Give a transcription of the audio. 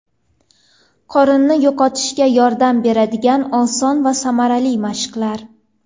Qorinni yo‘qotishga yordam beradigan oson va samarali mashqlar.